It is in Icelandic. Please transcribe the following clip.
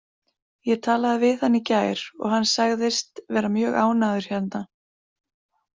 Ég talaði við hann í gær og hann sagðist vera mjög ánægður hérna.